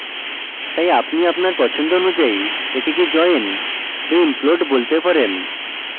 তাই আপনি আপনার পছন্দ অনুযায়ী এটিকে join so implode বলতে পারেন